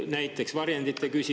Näiteks varjendite küsimus.